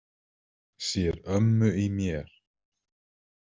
Sér ömmu í mér.